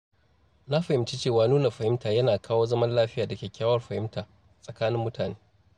Na fahimci cewa nuna fahimta yana kawo zaman lafiya da kyakkyawar fahimta tsakanin mutane.